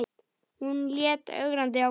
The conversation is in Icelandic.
Hún leit ögrandi á Gísla.